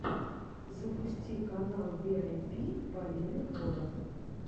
запусти канал виайпи полины холод